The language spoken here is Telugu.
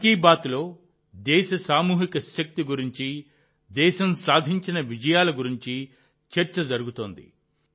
మన్ కీ బాత్లో దేశ సామూహిక శక్తి గురించి దేశం సాధించిన విజయాల గురించి చర్చ జరుగుతుంది